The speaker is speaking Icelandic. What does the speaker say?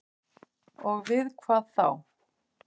Og við hvað þá?